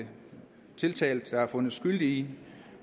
tiltalt for og fundet skyldig i